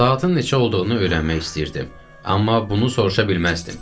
Saatın neçə olduğunu öyrənmək istəyirdim, amma bunu soruşa bilməzdim.